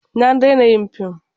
Ta daina yin film.